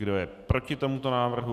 Kdo je proti tomuto návrhu?